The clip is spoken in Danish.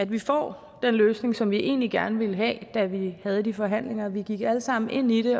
vi får den løsning som vi egentlig gerne ville have da vi havde de forhandlinger vi gik alle sammen ind i det